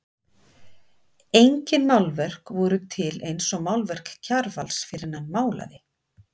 Engin málverk voru til eins og málverk Kjarvals fyrr en hann málaði.